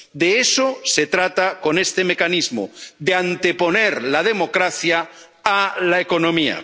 De eso se trata con este mecanismo de anteponer la democracia a la economía.